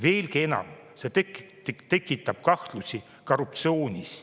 Veelgi enam, see tekitab kahtlusi korruptsioonis.